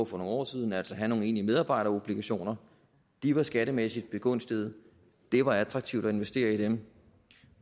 for nogle år siden altså at have nogle egentlige medarbejderobligationer de var skattemæssigt begunstigede og det var attraktivt at investere i dem